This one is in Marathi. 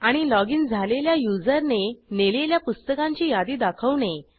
आणि लॉगिन झालेल्या युजरने नेलेल्या पुस्तकांची यादी दाखवणे